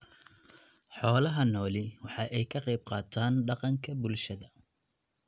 Xoolaha nooli waxa ay ka qayb qaataan dhaqanka bulshada.